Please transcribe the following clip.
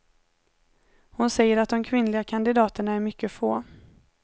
Hon säger att de kvinnliga kandidaterna är mycket få.